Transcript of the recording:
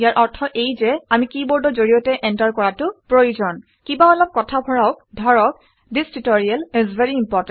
ইয়াৰ অৰ্থ এয়ে যে আমি কিবৰ্ডৰ জৰিয়তে এণ্টাৰ কৰাটো প্ৰয়োজন কিবা অলপ কথা ভৰাওক ধৰক - this tutorial is very important